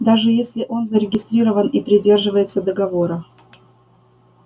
даже если он зарегистрирован и придерживается договора